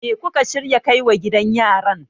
me kuka shirya kai wa gidan yaran?